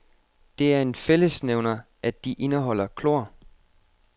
Det er en fællesnævner, at de indeholder klor.